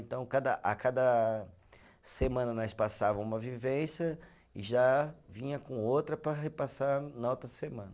Então cada, a cada semana, nós passava uma vivência e já vinha com outra para repassar na outra semana.